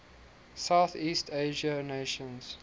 southeast asian nations